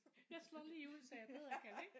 Jeg slår lige ud så jeg bedre kan ligge